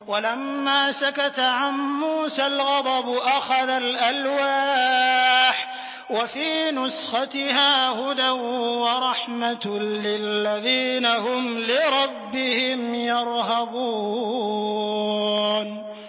وَلَمَّا سَكَتَ عَن مُّوسَى الْغَضَبُ أَخَذَ الْأَلْوَاحَ ۖ وَفِي نُسْخَتِهَا هُدًى وَرَحْمَةٌ لِّلَّذِينَ هُمْ لِرَبِّهِمْ يَرْهَبُونَ